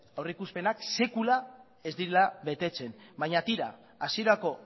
aurreikuspenak sekula ez direla betetzen baina tira hasierako